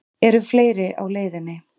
Eru fleiri á leiðinni?